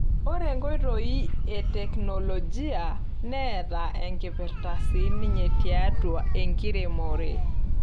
Ore enkoitoi e teknolojia neeta enkipirta siininye tiatua enkiremore.